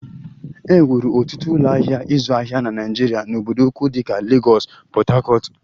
E wuru ọtụtụ ụlọ ahịa ịzụ ahịa na Naịjirịa n'obodo ukwu dịka Lagos, Port Harcourt